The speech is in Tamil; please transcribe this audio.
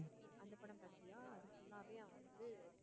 அந்த படம் பாத்தியா அது full ஆவே அவன் வந்து